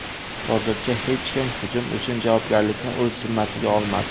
Hozircha hech kim hujum uchun javobgarlikni o‘z zimmasiga olmadi.